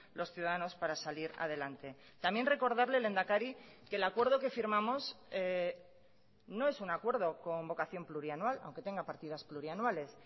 los ciudadanos para salir adelante también recordarle lehendakari que el acuerdo que firmamos no es un acuerdo con vocación plurianual aunque tenga partidas plurianuales